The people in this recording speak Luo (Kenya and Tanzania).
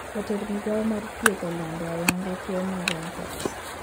Jatend migao mar thieth olando ayanga tuo mar mpox